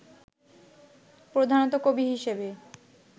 প্রধানত কবি হিসেবে